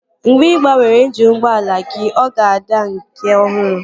Mgbe ị gbanwere injini ụgbọala gị, ọ ga-adị ka nke ọhụrụ